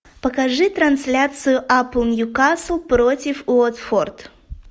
покажи трансляцию апл ньюкасл против уотфорд